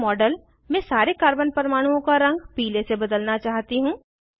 मैं मॉडल में सारे कार्बन परमाणुओं का रंग पीले से बदलना चाहती हूँ